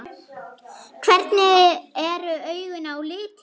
Hvernig eru augun á litinn?